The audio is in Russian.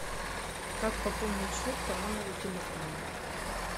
как пополнить счет по номеру телефона